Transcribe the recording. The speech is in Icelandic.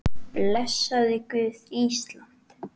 Blessaði Guð Ísland?